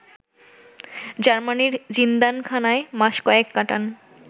জার্মানির জিন্দানখানায় মাস কয়েক কাটান